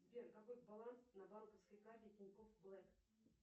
сбер какой баланс на банковской карте тинькофф блэк